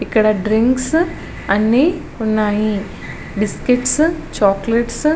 ఇక్కడ డ్రింక్స్ అనీవున్నాయి. Biscuit chocolates --